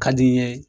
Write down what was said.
Ka di n ye